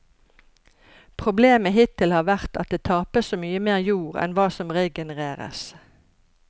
Problemet hittil har vært at det tapes så mye mer jord enn hva som regenereres.